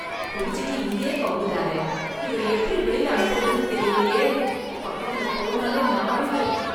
குடிச்சுட்டு இங்கயே கவுந்துட்டாரே, இவரை எப்படி வெளில அனுப்புறதுன்னு தெரியலயே, பக்கத்துல போனாலே நாறுது.